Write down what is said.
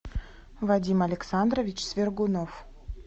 вадим александрович свергунов